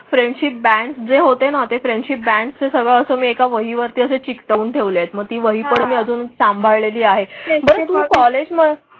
Friendship band जें होतें ना ते फ्रेंडशिप बॅन्ड्स सगळे अस मी एक वही वरती असे चिकटवून ठेवले आहेत. मग ती वही पण मी अजून सांभाळलेली आहे तर तुम्हा कॉलेज मग.